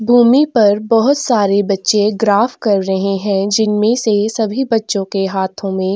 भूमि पर बहोत सारे बच्चे ग्राफ कर रहे है जिन मे से सभी बच्चो के हाथो में--